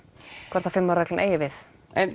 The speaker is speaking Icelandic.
hvort fimm ára reglan eigi við